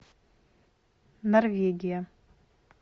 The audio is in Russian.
норвегия